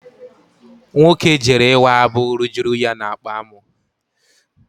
Nwoke jere ịwa abụ rujuru ya n'akpa amụ.